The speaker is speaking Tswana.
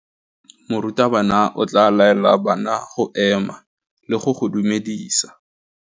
Morutabana o tla laela bana go ema le go go dumedisa.